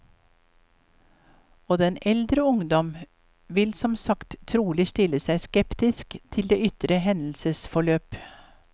Og den eldre ungdom vil som sagt trolig stille seg skeptisk til det ytre hendelsesforløp.